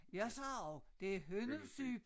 Jeg siger også det hønnusyp